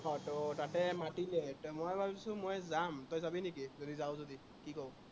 আহ ত তাতে মাতিছে, এতিয়া মই ভাবিছো, মই যাম। তই যাবি নেকি, যদি যাৱ যদি কি কৱ?